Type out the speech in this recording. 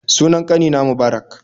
Sunan ƙanina Mubarak